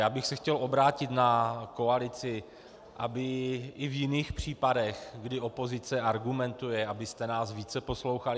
Já bych se chtěl obrátit na koalici, aby i v jiných případech, kdy opozice argumentuje, abyste nás více poslouchali.